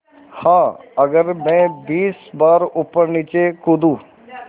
हाँ अगर मैं बीस बार ऊपरनीचे कूदूँ